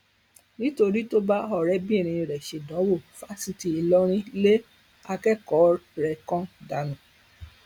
nítorí tó bá ọrẹbìnrin rẹ ṣèdánwò fásitì ìlọrin lé akẹkọọ rẹ kan dànù